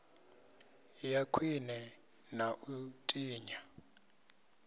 ya khwine na u tinya